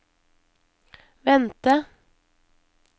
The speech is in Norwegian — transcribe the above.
vente